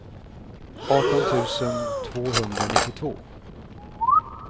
arton tusen tvåhundranittiotvå